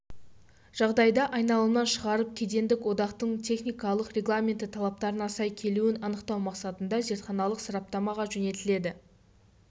жағдайда айналымнан шығарылып кедендік одақтың техникалық регламенті талаптарына сай келуін анықтау мақсатында зертханалық сараптамаға жөнелтіледі